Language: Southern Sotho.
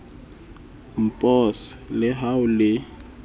npos le ha ho le